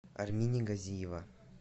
армине газиева